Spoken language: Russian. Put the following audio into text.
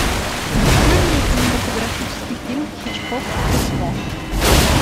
открой мне кинематографический фильм хичкок трюффо